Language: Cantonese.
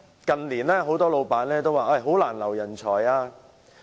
近年很多老闆表示難以挽留人才。